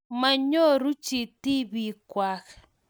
Monyoruu chii tibiik kwak.